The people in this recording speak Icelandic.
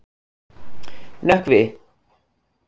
Nökkvi